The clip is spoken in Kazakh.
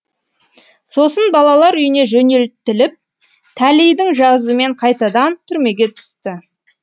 сосын балалар үйіне жөнелтіліп тәлейдің жазуымен қайтадан түрмеге түсті